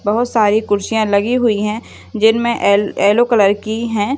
बहुत सारी खुर्सिया लगी हुई है जिनमे येल येल्लो कलर की है।